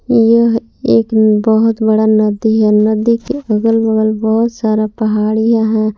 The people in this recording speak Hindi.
यह एक बहुत बड़ा नदी है नदी के अगल बगल बहुत सारा पहाड़ियां है।